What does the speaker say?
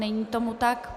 Není tomu tak.